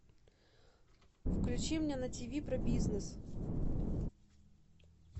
включи мне на тиви про бизнес